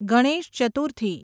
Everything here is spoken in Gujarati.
ગણેશ ચતુર્થી